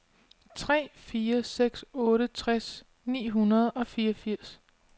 tre fire seks otte tres ni hundrede og fireogfirs